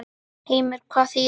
Heimir: Hvað þýðir það?